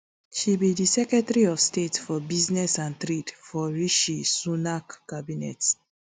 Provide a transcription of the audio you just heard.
she be di secretary of state for business and trade for rishi sunak cabinet